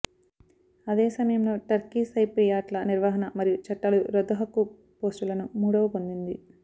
అదే సమయంలో టర్కిష్ సైప్రియాట్ల నిర్వహణ మరియు చట్టాలు రద్దు హక్కు పోస్టులను మూడవ పొందింది